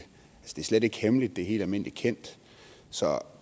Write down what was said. slet ikke hemmeligt det er helt almindelig kendt så